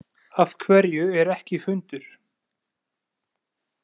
Af hverju er ekki fundur?